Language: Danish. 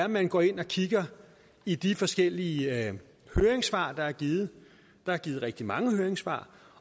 man går ind og kigger i de forskellige høringssvar der er givet der er givet rigtig mange høringssvar